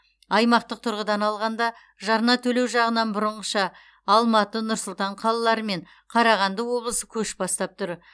аймақтық тұрғыдан алғанда жарна төлеу жағынан бұрынғыша алматы нұр сұлтан қалалары мен қарағанды облысы көш бастап тұр